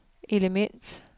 element